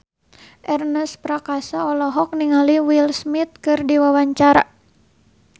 Ernest Prakasa olohok ningali Will Smith keur diwawancara